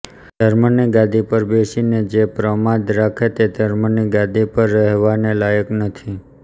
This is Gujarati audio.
ધર્મની ગાદી પર બેસીને જે પ્રમાદ રાખે તે ધર્મની ગાદી પર રહેવાને લાયક નથી